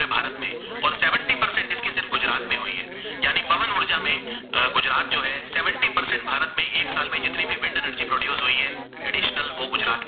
अ गुजरात जो है seventy percent Bharat में एक साल में जितनी भी wind energy produced है traditional वो गुजरात के अंदर